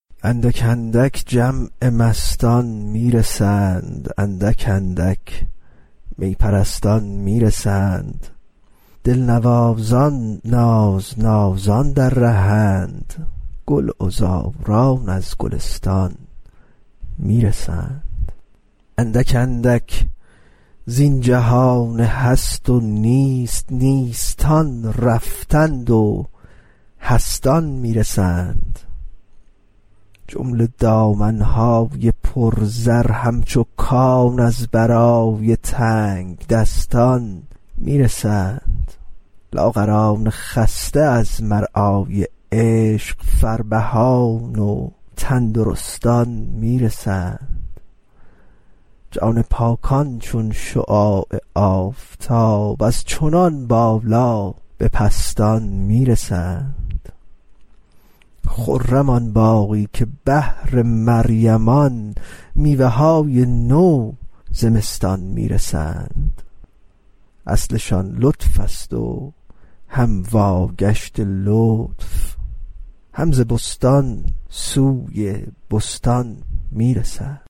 اندک اندک جمع مستان می رسند اندک اندک می پرستان می رسند دلنوازان نازنازان در ره اند گلعذاران از گلستان می رسند اندک اندک زین جهان هست و نیست نیستان رفتند و هستان می رسند جمله دامن های پرزر همچو کان از برای تنگدستان می رسند لاغران خسته از مرعای عشق فربهان و تندرستان می رسند جان پاکان چون شعاع آفتاب از چنان بالا به پستان می رسند خرم آن باغی که بهر مریمان میوه های نو زمستان می رسند اصلشان لطفست و هم واگشت لطف هم ز بستان سوی بستان می رسند